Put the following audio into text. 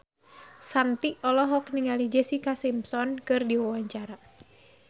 Shanti olohok ningali Jessica Simpson keur diwawancara